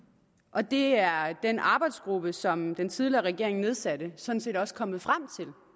og det er den arbejdsgruppe som den tidligere regering nedsatte sådan set også kommet frem